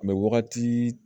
A bɛ wagati